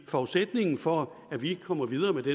forudsætningen for at vi kommer videre med de